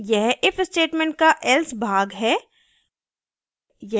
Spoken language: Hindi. यह if statement का else भाग है